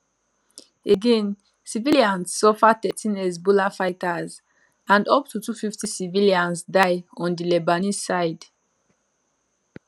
again civilians suffer thirteen hezbollah fighters and up to 250 civilians die on di lebanese side